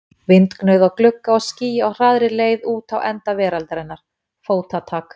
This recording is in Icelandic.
Vindgnauð á glugga og ský á hraðri leið út á enda veraldarinnar, fótatak.